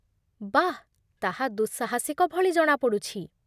ବାଃ! ତାହା ଦୁଃସାହସିକ ଭଳି ଜଣାପଡ଼ୁଛି